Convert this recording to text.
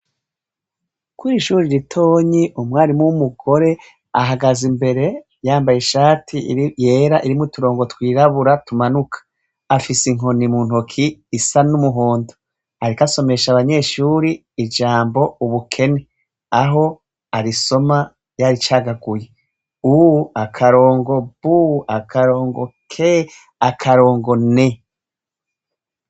Kure ishuri ritonyi umwarimwo w'umugore ahagaze imbere yambaye ishati yera irimwo turongo twirabura tumanuka afise inkoni mu ntoki isa n'umuhondo arika asomesha abanyeshuri ijambo ubukene aho arisoma yari icagaguye bu akarongo bu akarongo ke akarongo ne.